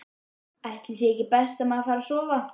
Ætli sé ekki best að maður fari að sofa.